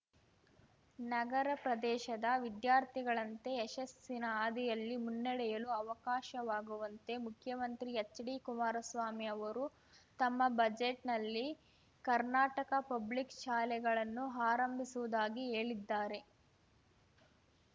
ನಗರ ಪ್ರದೇಶದ ವಿದ್ಯಾರ್ಥಿಗಳಂತೆ ಯಶಸ್ಸಿನ ಹಾದಿಯಲ್ಲಿ ಮುನ್ನಡೆಯಲು ಅವಕಾಶವಾಗುವಂತೆ ಮುಖ್ಯಮಂತ್ರಿ ಹೆಚ್ಡಿ ಕುಮಾರಸ್ವಾಮಿ ಅವರು ತಮ್ಮ ಬಜೆಟ್‌ನಲ್ಲಿ ಕರ್ನಾಟಕ ಪಬ್ಲಿಕ್ ಶಾಲೆಗಳನ್ನು ಆರಂಭಿಸುವುದಾಗಿ ಹೇಳಿದ್ದಾರೆ